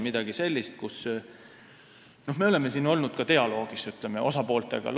Me oleme siin olnud ka dialoogis osapooltega.